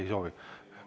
Ei soovi.